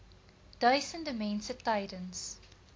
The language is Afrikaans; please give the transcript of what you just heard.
duisende mense tydens